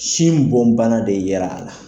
Sin bon bana de yera la.